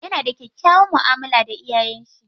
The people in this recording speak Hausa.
Yana da kyakkyawan mu'amala da iyayen shi.